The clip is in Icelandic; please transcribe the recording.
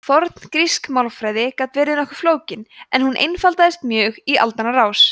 forngrísk málfræði gat verið nokkuð flókin en hún einfaldaðist mjög í aldanna rás